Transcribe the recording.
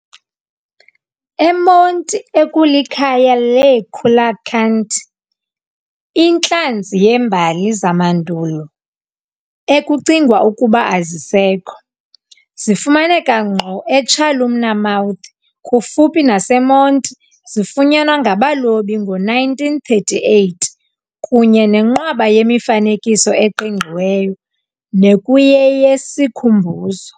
eMonti ekulikhaya leecoelacanth, intlanzi yembali zamandulo, ekucingwa ukuba azisekho, zifumaneka ngqo eChalumna Mouth kufuphi naseMonti zifunyanwa ngabalobi ngo-1938, kunye nenqwaba yemifanekiso eqingqiweyo nekuyeyesikhumbuzo.